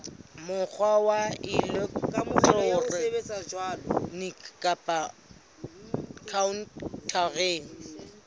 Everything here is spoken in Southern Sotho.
mokgwa wa elektroniki kapa khaontareng